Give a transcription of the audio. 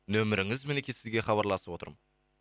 нөміріңіз мінекей сізге хабарласып отырмын